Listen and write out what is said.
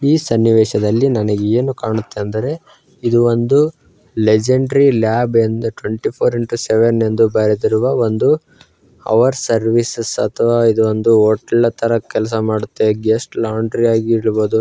ಈ ಸನ್ನಿವೇಶದಲ್ಲಿ ನನಗೆ ಏನು ಕಾಣುತ್ತೆ ಅಂದರೆ ಇದು ಒಂದು ಲೆಜೇಂಡ್ರಿ ಲ್ಯಾಬ್ ಎಂದು ಟ್ವೆಂಟಿ ಫೋರ್ ಬಾರ್ ಸೆವೆನ್ ಎಂದು ಬರೆದಿರುವ ಒಂದು ಅವರ್ ಸರ್ವೀಸ್ಶ ಅಥವಾ ಇದು ಒಂದು ಹೊಟೇಲ್ ತಾರಾ ಕೆಲಸ ಮಾಡುತ್ತೆ ಗೆಸ್ಟ್ ಲ್ಯಾನ್ಡಿ ಹಾಗಿರಬಹುದು.